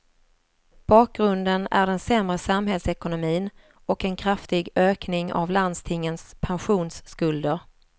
Bakgrunden är den sämre samhällsekonomin och en kraftig ökning av landstingens pensionsskulder.